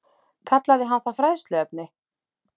Kallaði hann það fræðsluefni?